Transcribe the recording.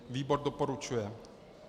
Výbor doporučuje.